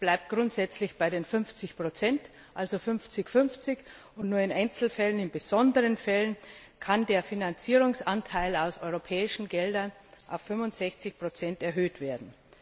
Es bleibt grundsätzlich bei den 50 Prozent also 5050 und nur in besonderen Einzelfällen kann der Finanzierungsanteil aus europäischen Geldern auf 65 Prozent erhöht werden.